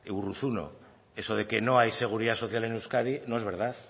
urruzuno eso de que no hay seguridad social en euskadi no es verdad